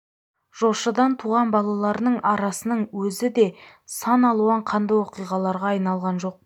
жошыдан туған балаларының арасының өзі де сан алуан қанды оқиғаларға айналған жоқ па